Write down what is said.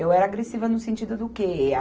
Eu era agressiva no sentido do quê?